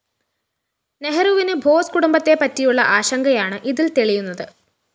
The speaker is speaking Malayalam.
നെഹ്‌റുവിന് ബോസ്‌ കുടുംബത്തെപ്പറ്റിയുള്ള ആശങ്കയാണ് ഇതില്‍ തെളിയുന്നത്